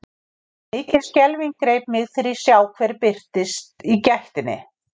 Mikil skelfing greip mig þegar ég sá hver birtist í gættinni.